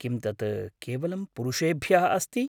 किं तत् केवलं पुरुषेभ्यः अस्ति?